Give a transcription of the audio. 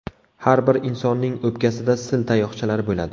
Har bir insonning o‘pkasida sil tayoqchalari bo‘ladi.